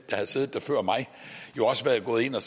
der har siddet der før mig jo også være gået ind og